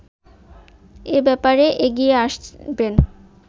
এ ব্যাপারে এগিয়ে আসবেন